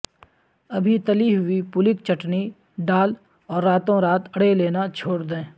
ابھی تلی ہوئی پولک چٹنی ڈال اور راتوں رات اڑےلنا چھوڑ دیں